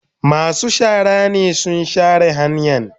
Masu shara ne sun share hanyan.